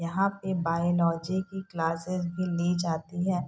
यहाँ पे बायलॉजी की क्लासेस भी ली जाती है।